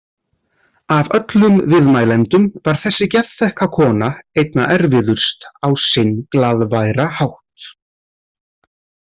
Af öllum viðmælendum var þessi geðþekka kona einna erfiðust á sinn glaðværa hátt.